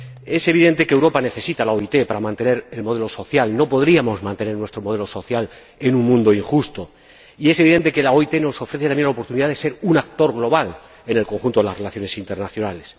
Es evidente que Europa necesita a la OIT para mantener el modelo social —no podríamos mantener nuestro modelo social en un mundo injusto— ,y es evidente que la OIT nos ofrece también la oportunidad de ser un actor global en el conjunto de las relaciones internacionales.